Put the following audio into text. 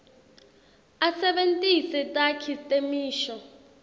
asebentise takhi temisho